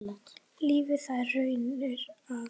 Lifði þær raunir af.